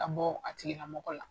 Ka bɔ a tigila mɔgɔ la